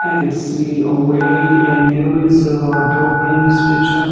i can see a way and there is a in this picture.